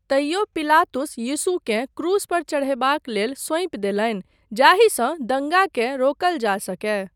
तइयो पिलातुस यीशुकेँ क्रूस पर चढ़यबाक लेल सौंपि देलनि जाहिसँ दंगाकेँ रोकल जा सकय।